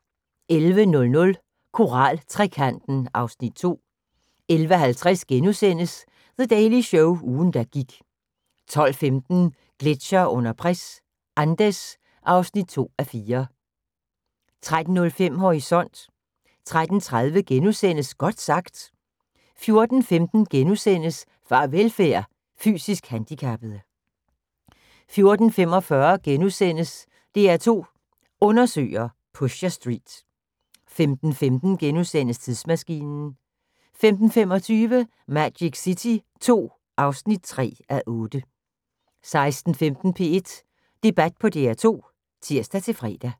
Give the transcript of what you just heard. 11:00: Koraltrekanten (Afs. 2) 11:50: The Daily Show – ugen der gik * 12:15: Gletsjere under pres – Andes (2:4) 13:05: Horisont 13:30: Godt sagt * 14:15: Farvelfærd: Fysisk handikappede * 14:45: DR2 Undersøger: Pusher Street * 15:15: Tidsmaskinen * 15:25: Magic City II (3:8) 16:15: P1 Debat på DR2 (tir-fre)